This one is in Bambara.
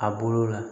A bolo la